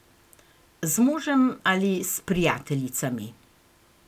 Z možem ali s prijateljicami.